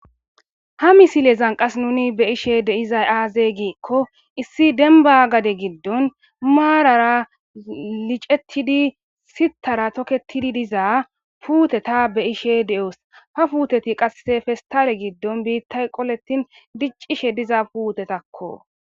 Ha misile zanqas nuni be ishe deizay aazey giikko issi denba gade giddon maarara licettidi sitara tokketidi diza puuteta be ishe de7os ha puuteti qasse festare giddon biittay qoletin diccishe diza puutetakko.